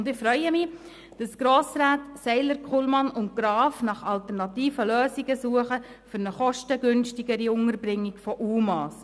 Und ich freue mich, dass die Grossräte Seiler, Kullmann und Graf nach alternativen Lösungen für eine kostengünstigere Unterbringung von UMA suchen.